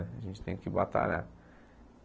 A gente tem que batalhar.